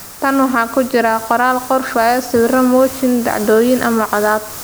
Tan waxaa ku jira qoraal, garaafyo, sawirro mooshin, dhacdooyin ama codad.